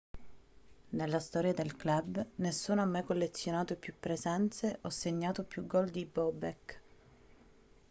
nella storia del club nessuno ha mai collezionato più presenze o segnato più gol di bobek